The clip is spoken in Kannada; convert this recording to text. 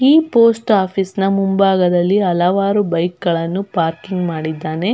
ಈ ಪೋಸ್ಟ್ ಓಫೀಸಿನ ಮುಂಭಾಗದಲ್ಲಿ ಹಲವಾರು ಬೈಕ್ ಗಳನ್ನು ಪಾರ್ಕಿಂಗ್ ಮಾಡಿದ್ದಾನೇ.